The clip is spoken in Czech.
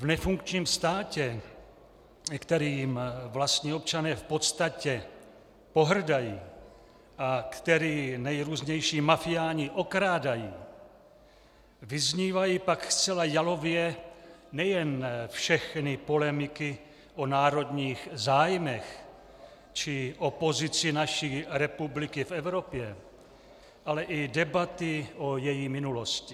V nefunkčním státě, kterým vlastní občané v podstatě pohrdají a který nejrůznější mafiáni okrádají, vyznívají pak zcela jalově nejen všechny polemiky o národních zájmech či o pozici naší republiky v Evropě, ale i debaty o její minulosti.